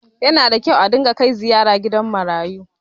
Yana da kyau a ringa kai ziyara gidan marayu.